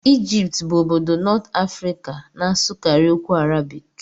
Egypt bụ obodo North Africa na-asụkarị okwu Arabik.